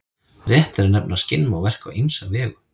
Rétt er að nefna að skinn má verka á ýmsa vegu.